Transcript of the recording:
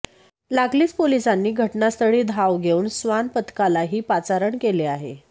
लागलीच पोलिसांनी घटनास्थळी धाव घेऊन श्वान पथकालाही पाचारण केले आहे